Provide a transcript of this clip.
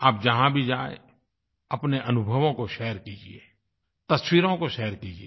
आप जहाँ भी जाएँ अपने अनुभवों को शेयर कीजिये तस्वीरों को शेयर कीजिये